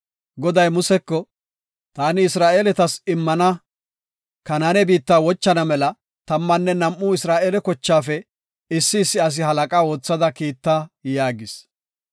“Taani Isra7eeletas immana Kanaane biitta wochana mela tammanne nam7u Isra7eele kochaafe issi issi asi halaqa oothada kiitta” yaagis.